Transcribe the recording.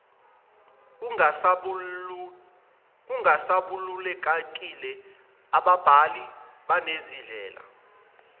kungasabalulekile ababhali banezindlela